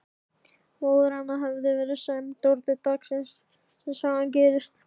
Móðir hennar hafði verið sæmd orðu daginn sem sagan gerist.